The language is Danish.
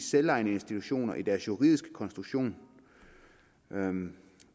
selvejende institutioner i deres juridiske konstruktion